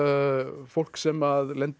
fólk sem lendir